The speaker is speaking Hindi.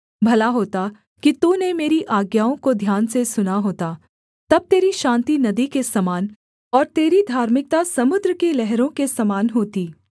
भला होता कि तूने मेरी आज्ञाओं को ध्यान से सुना होता तब तेरी शान्ति नदी के समान और तेरी धार्मिकता समुद्र की लहरों के समान होता